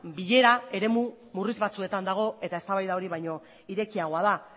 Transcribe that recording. bilera eremu urri batzuetan dago eta eztabaida hori baino irekiagoa da